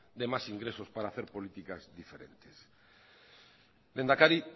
de más ingresos para hacer políticas diferentes lehendakari